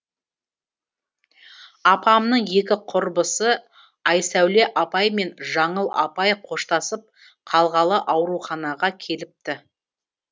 апамның екі құрбысы айсәуле апай мен жаңыл апай қоштасып қалғалы ауруханаға келіпті